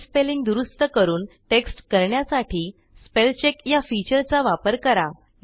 हे स्पेलिंग दुरूस्त करून टेक्स्ट करण्यासाठी स्पेल चेक या फीचर चा वापर करा